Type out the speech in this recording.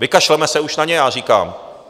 Vykašleme se už na ně, já říkám.